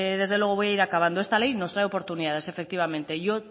desde luego voy a ir acabando esta ley nos trae oportunidades efectivamente